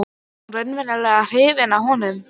Er hún raunverulega hrifin af honum?